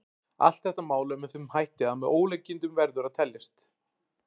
Allt þetta mál er með þeim hætti að með ólíkindum verður að teljast.